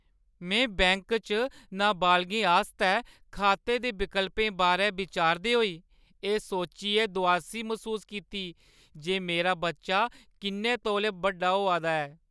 में बैंक च नाबालगें आस्तै खाते दे विकल्पें बारै बिचारदे होई एह् सोचियै दुआसी मसूस कीती जे मेरा बच्चा किन्ने तौले बड्डा होआ दा ऐ।